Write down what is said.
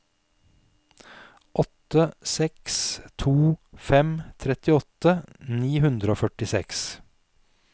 åtte seks to fem trettiåtte ni hundre og førtiseks